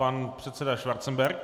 Pan předseda Schwarzenberg.